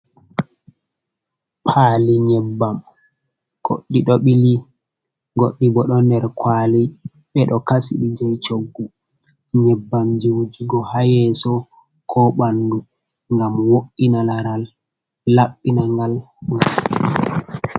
Paali nyebbam goɗɗi ɗo ɓili, goɗɗi bo ɗon nder kuwali, ɓe ɗo kasi ɗi jey coggu. Nyebbam jey wujugo haa yeeso, ko ɓanndu, ngam wo’ina laral, laɓɓina ngal.